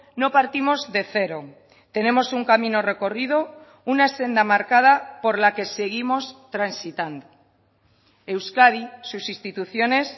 no partimos de cero tenemos un camino recorrido una senda marcada por la que seguimos transitando euskadi sus instituciones